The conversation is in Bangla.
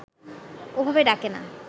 ওভাবে ডাকে না